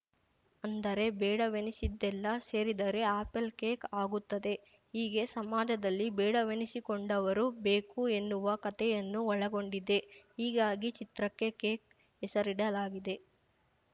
ಅಂದರೆ ಬೇಡವೆನಿಸಿದ್ದೆಲ್ಲ ಸೇರಿದರೆ ಆಪಲ್‌ ಕೇಕ್‌ ಆಗುತ್ತದೆ ಹೀಗೆ ಸಮಾಜದಲ್ಲಿ ಬೇಡವೆನಿಸಿಕೊಂಡವರು ಬೇಕು ಎನ್ನುವ ಕತೆಯನ್ನು ಒಳಗೊಂಡಿದೆ ಹೀಗಾಗಿ ಚಿತ್ರಕ್ಕೆ ಕೇಕ್‌ ಹೆಸರಿಡಲಾಗಿದೆ